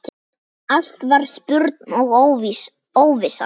Allt var spurn og óvissa.